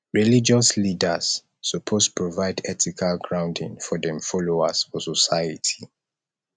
religious leaders suppose provide ethical grounding for dem followers for society